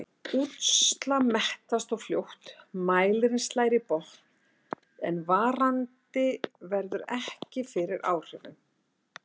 Útslag mettast þá fljótt, mælirinn slær í botn en varandi verður ekki fyrir áhrifum.